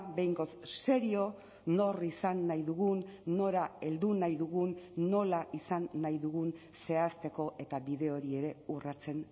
behingoz serio nor izan nahi dugun nora heldu nahi dugun nola izan nahi dugun zehazteko eta bide hori ere urratzen